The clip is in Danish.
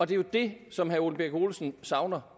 det er jo det som herre ole birk olesen savner